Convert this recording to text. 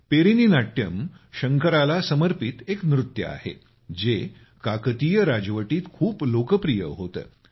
Perini Natyam शंकराला समर्पित एक नृत्य आहे जे काकतीय राजवटीत खूप लोकप्रिय होते